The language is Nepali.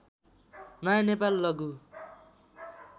नयाँ नेपाल लघु